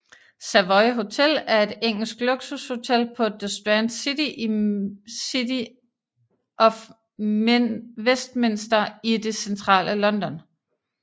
Savoy Hotel er et engelsk luksushotel på The Strand i City of Westminster i det centrale London